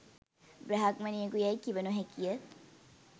බ්‍රාහ්මණයෙකු යැයි කිව නොහැකිය